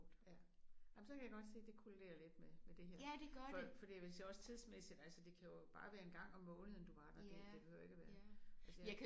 Ja ej men så kan jeg godt se det kolliderer lidt med med det her for for hvis også tidsmæssigt det kan jo bare være en gang om måneden du var der det behøver jo ikke være altså